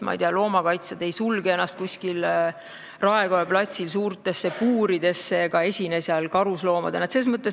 Meil loomakaitsjad ei sulge ennast kuskil Raekoja platsil suurtesse puuridesse ega esine seal karusloomadena.